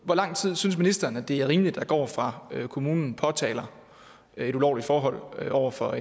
hvor lang tid synes ministeren det er rimeligt der går fra kommunen påtaler et ulovligt forhold over for